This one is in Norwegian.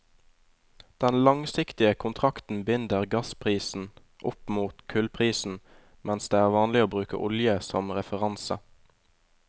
Den langsiktige kontrakten binder gassprisen opp mot kullprisen, mens det er vanlig å bruke olje som referanse.